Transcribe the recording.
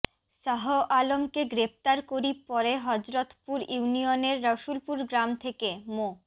শাহ আলমকে গ্রেপ্তার করি পরে হযরতপুর ইউনিয়নের রসুলপুর গ্রাম থেকে মো